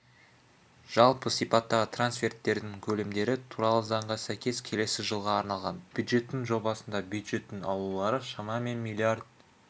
жалпы сипаттағы трансферттердің көлемдері туралы заңға сәйкес келесі жылға арналған бюджеттің жобасында бюджеттің алулары шамамен миллиард